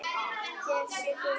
Hér sé guð!